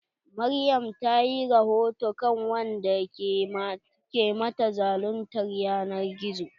Maryam ta yi rahoto kan wanda ke mata zaluntar ƴanar gizo.